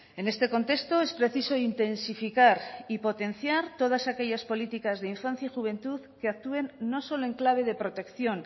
en este contexto es preciso intensificar y potenciar todas aquellas políticas de infancia y juventud que actúen no solo en clave de protección